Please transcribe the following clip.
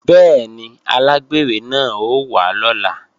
Bẹ́ẹ̀ni, alágbèrè náà ó wá lọ́la